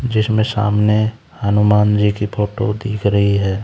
जिसमें सामने हनुमान जी की फोटो दिख रहीं हैं।